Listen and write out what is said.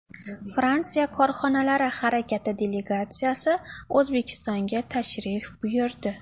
Fransiya Korxonalari harakati delegatsiyasi O‘zbekistonga tashrif buyurdi.